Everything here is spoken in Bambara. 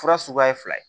Fura suguya ye fila ye